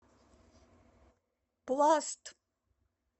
пласт